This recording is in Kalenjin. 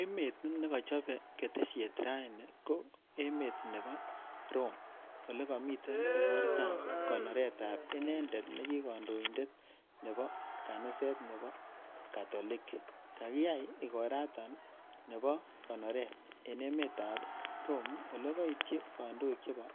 Emet ne kachape ketesiet raini ko emet nepo Rome. Ole kamite ikortap konoret ap inendet ne ki kandoindet nepo kaniset nepo Katoliki. Kakiyai ikoranatak nepo konoret eng' emetap Rome, ole kaityi kandoik chepo